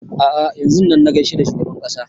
A'a yanzun nan na gaishe da shugaban ƙasa